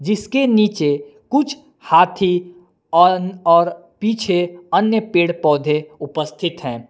इसके नीचे कुछ हाथी और और पीछे अन्य पेड़ पौधे उपस्थित हैं।